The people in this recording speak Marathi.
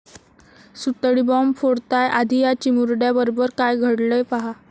सुतळी बाँब फोडताय.... आधी या चिमुरड्याबरोबर काय घडलंय पाहा!